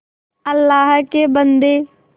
अल्लाह के बन्दे